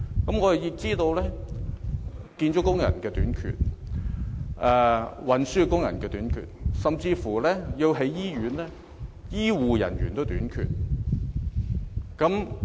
我們知道建築、運輸業工人短缺，甚至要興建醫院，醫護人員都是短缺的。